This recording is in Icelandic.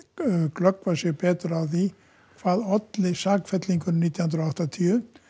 glöggva sig betur á því hvað olli sakfellingunni nítján hundruð og áttatíu